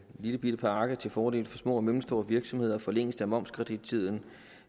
lillebitte pakke til fordel for små og mellemstore virksomheder forlængelse af momskredittiden